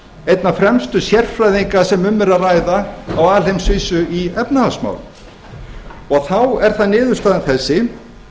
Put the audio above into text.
einna fremstu sérfræðinga sem um er að ræða á alheimsvísu í efnahagsmálum og þá er það niðurstaðan þessi það